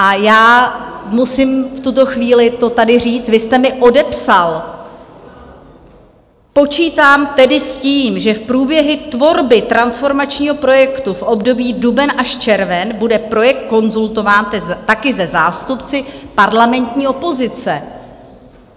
A já musím v tuto chvíli to tady říct, vy jste mi odepsal: Počítám tedy s tím, že v průběhu tvorby transformačního projektu v období duben až červen bude projekt konzultován taky se zástupci parlamentní opozice.